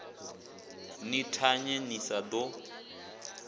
ni thanye ni sa ḓo